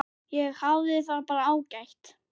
Ég hafði það bara ágætt.